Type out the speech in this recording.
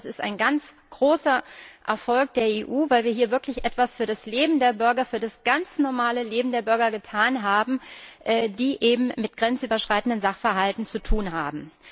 Ich denke, das ist ein ganz großer Erfolg der EU, weil wir hier wirklich etwas für das Leben der Bürger für das ganz normale Leben der Bürger getan haben, die es mit grenzüberschreitenden Sachverhalten zu tun haben.